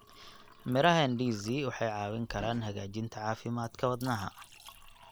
Miraha ndizi waxay caawin karaan hagaajinta caafimaadka wadnaha.